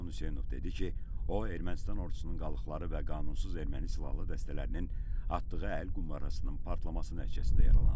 Ceyhun Hüseynov dedi ki, o Ermənistan ordusunun qalıqları və qanunsuz erməni silahlı dəstələrinin atdığı əl qumbarasının partlaması nəticəsində yaralanıb.